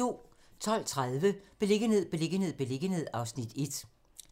12:30: Beliggenhed, beliggenhed, beliggenhed (Afs. 1)